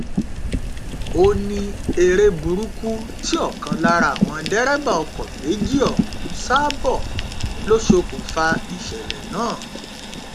ó ní eré burúkú tí ọkan lára àwọn dẹrẹbà ọkọ méjì ọhún ń sá bọ lọ ṣokùnfà ìṣẹlẹ náà